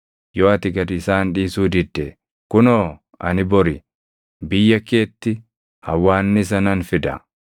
Yoo ati gad isaan dhiisuu didde, kunoo ani bori biyya keetti hawwaannisa nan fida.